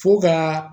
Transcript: Fo ka